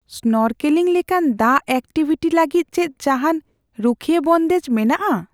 Snorkelling ᱞᱮᱠᱟᱱ ᱫᱟᱜ activity ᱞᱟᱹᱜᱤᱫ ᱪᱮᱫ ᱡᱟᱦᱟᱱ ᱨᱩᱠᱷᱟᱹᱭᱤ ᱵᱚᱱᱫᱮᱡ ᱢᱮᱱᱟᱜᱼᱟ ?